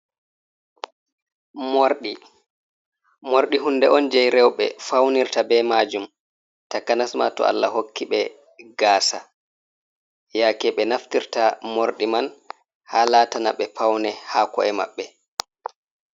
Morɗi, morɗi hunde on jei rewɓe faunirta be majum, takanas ma to Allah hokki ɓe gasa, yaake ɓe naftirta morɗi man ha latana ɓe paune ha ko’e maɓɓe.